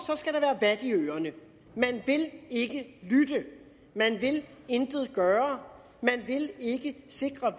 skal der være vat i ørerne man vil ikke lytte man vil intet gøre man vil ikke sikre